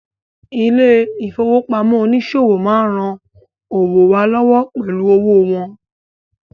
Ilé ìfowópamọ́ oníṣòwò má ń ran àwọn òwò wa lọ́wọ́ pẹ̀lú owó wọn